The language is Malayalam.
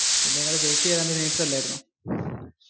പിന്നെ ഇയാളുടെ ചേച്ചി ഏതാണ്ട് നേഴ്സ് അല്ലായിരുന്നോ?